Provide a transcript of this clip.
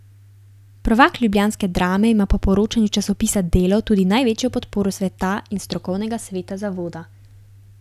Prvak ljubljanske Drame ima po poročanju časopisa Delo tudi največjo podporo sveta in strokovnega sveta zavoda.